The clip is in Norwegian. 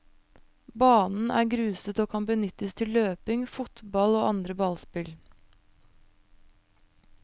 Banen er gruset og kan benyttes til løping, fotbakll og andre ballspill.